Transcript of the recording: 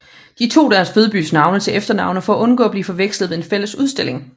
De tog deres fødebyers navne til efternavne for at undgå at blive forvekslet ved en fælles udstilling